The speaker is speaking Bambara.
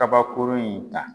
Kabakourun in ta